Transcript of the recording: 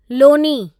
Loni